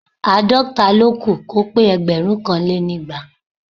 Àádọ́ta ló kù kó pé ẹgbẹ̀rúnkanlénígba